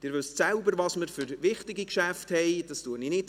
Sie wissen selbst, welche wichtigen Geschäfte wir haben.